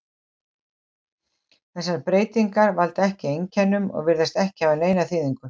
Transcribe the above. Þessar breytingar valda ekki einkennum og virðast ekki hafa neina þýðingu.